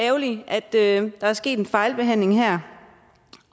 det er rigtig ærgerligt at der er sket en fejlbehandling her